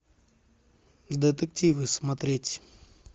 детективы смотреть